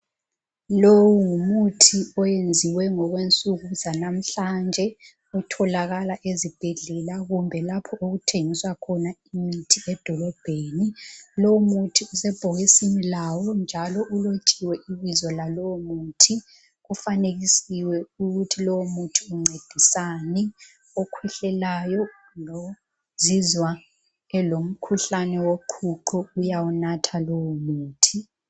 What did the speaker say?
Lowu ngumuthi owenziwe ngokwensuku zalamhlanje. Utholakala ezibhedlela, kumbe lapho okuthengiswa khona imithi edolobheni. Lowumuthi usebhokisini lawo, njalo ulothiwe ibizo lalowomuthi. Ufanekisiwe ukuthi lowomuthi uncedisani. Okhwehlelayo, lozizwa elomkhuhlane woqhuqho, uyawunatha lowumuthi.